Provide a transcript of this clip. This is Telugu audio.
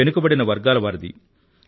వెనుకబడిన వర్గాల వారిది